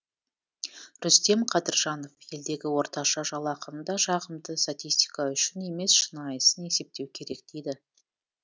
рүстем қадыржанов елдегі орташа жалақыны да жағымды статистика үшін емес шынайысын есептеу керек дейді